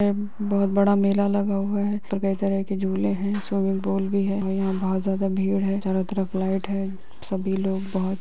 ये बहुत बड़ा मेला लगा हुआ है पर कई तरह के झूले हैं स्विमिंग पूल भी है और यहाँ बहुत ज़्यादा भीड़ भी है चारों तरफ लाइट है सभी लोग बहुत --